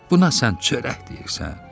Buna sən çörək deyirsən?